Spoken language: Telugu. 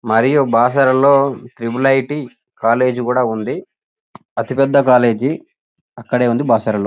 మరియు బాసరలో ట్రిపుల్ ఐ.టీ. కాలేజీ కూడా ఉంది అతిపెద్ద కాలేజీ అక్కడే ఉంది బాసరలో --